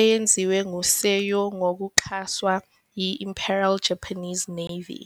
eyenziwe ngu Seo ngokuxhaswa yi- Imperial Japanese Navy.